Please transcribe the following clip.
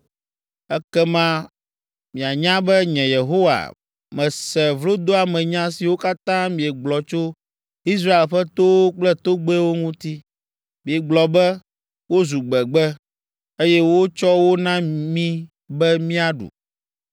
Ekema mianya be, nye Yehowa mese vlodoamenya siwo katã miegblɔ tso Israel ƒe towo kple togbɛwo ŋuti. Miegblɔ be, “Wozu gbegbe, eye wotsɔ wo na mí be míaɖu.”